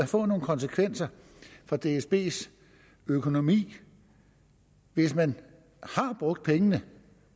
få nogle konsekvenser for dsbs økonomi hvis man har brugt pengene